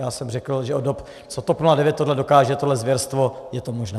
Já jsem řekl, že od dob, co TOP 09 tohle dokáže, tohle zvěrstvo, je to možné.